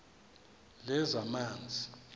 lezamanzi